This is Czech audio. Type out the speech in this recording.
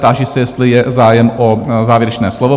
Táži se, jestli je zájem o závěrečné slovo?